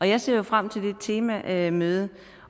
jeg ser jo frem til det temamøde